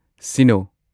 ꯁꯤꯅꯣ